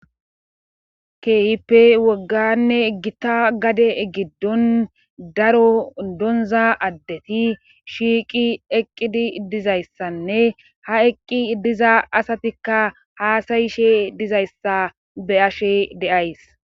kehipe wogganne egita gade egiddon daro donza addeti shiiqi eqqidi dizayssanne ha eqqi diza asatikka haasayishe dizayssa be ashe deays